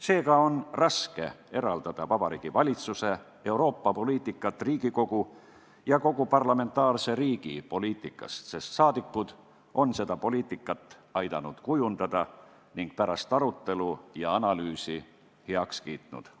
Seega on raske eraldada Vabariigi Valitsuse Euroopa-poliitikat Riigikogu ja kogu parlamentaarse riigi poliitikast, sest rahvasaadikud on aidanud seda poliitikat kujundada ning on pärast arutelu ja analüüsi selle heaks kiitnud.